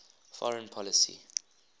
foreign policy